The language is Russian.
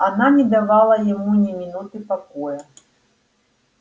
она не давала ему ни минуты покоя